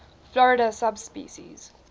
florida subspecies